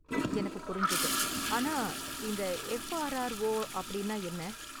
எனக்கு புரிஞ்சது. ஆனா, இந்த எஃப்ஆர்ஆர்ஓ அப்படினா என்ன?